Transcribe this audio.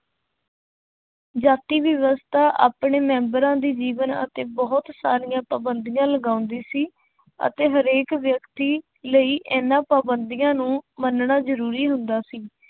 ਜਾਤੀ ਵਿਵਸਥਾ ਆਪਣੇ ਮੈਂਬਰਾਂ ਦੇ ਜੀਵਨ ਅਤੇ ਬਹੁਤ ਸਾਰੀਆਂ ਪਾਬੰਦੀਆਂ ਲਗਾਉਂਦੀ ਸੀ ਅਤੇ ਹਰੇਕ ਵਿਅਕਤੀ ਲਈ ਇਹਨਾਂ ਪਾਬੰਦੀਆਂ ਨੂੰ ਮੰਨਣਾ ਜ਼ਰੂਰੀ ਹੁੰਦਾ ਸੀ।